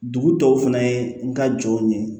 Dugu dɔw fana ye n ka jɔnw ye